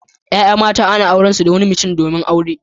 Ya'ya mata ana angwance da wani mutum domin aure.